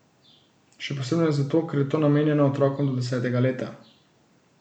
Še posebno ne zato, ker je to namenjeno otrokom do desetega leta.